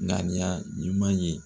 Ŋaniya ɲuman ye